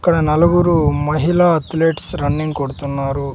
ఇక్కడ నలుగురు మహిళా అథ్లెట్స్ రన్నింగ్ కొడుతున్నారు.